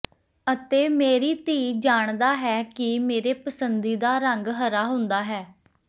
ਅਤੇ ਮੇਰੀ ਧੀ ਜਾਣਦਾ ਹੈ ਕਿ ਮੇਰੇ ਪਸੰਦੀਦਾ ਰੰਗ ਹਰਾ ਹੁੰਦਾ ਹੈ